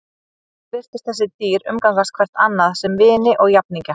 Öll virtust þessi dýr umgangast hvert annað sem vini og jafningja.